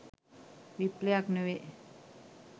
විප්ලවයක් නොවේ